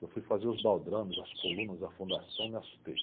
Eu fui fazer os baldrames, as colunas, a fundação, me assustei.